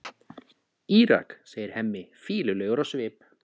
Írak, segir Hemmi, fýlulegur á svip.